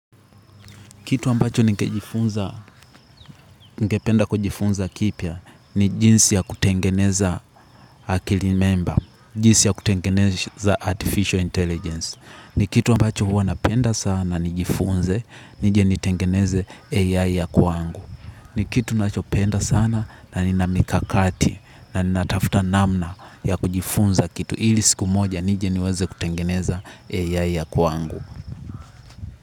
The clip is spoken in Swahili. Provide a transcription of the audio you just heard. Kitu ambacho ningejifunza, ningependa kujifunza kipya ni jinsi ya kutengeneza akili memba, jinsi ya kutengeneza artificial intelligence. Ni kitu ambacho huwa napenda sana nijifunze, nije nitengeneze AI ya kwangu. Ni kitu ninachopenda sana na nina mikakati na natafuta namna ya kujifunza kitu ili siku moja nije niweze kutengeneza AI ya kwangu.